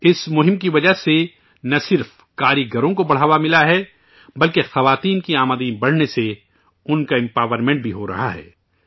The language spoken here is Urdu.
اس مہم کی وجہ سے نہ صرف کاریگروں کو فروغ ملا ہے بلکہ خواتین کی آمدنی بڑھنے سے وہ بااختیار بھی ہورہی ہیں